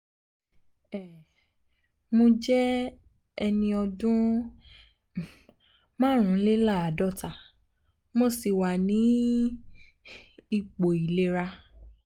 um mo jẹ́ ẹni jẹ́ ẹni ọdún um márùnléláàádọ́ta mo sì wà ní um ipò ìlera